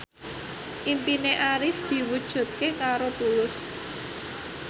impine Arif diwujudke karo Tulus